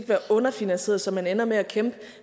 være underfinansieret så man ender med at kæmpe